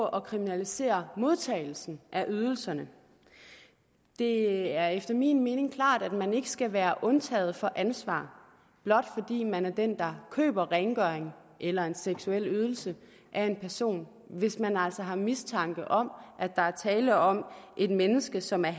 at kriminalisere modtagelsen af ydelserne det er efter min mening klart at man ikke skal være undtaget fra ansvar blot fordi man er den der køber rengøring eller en seksuel ydelse af en person hvis man altså har mistanke om at der er tale om et menneske som er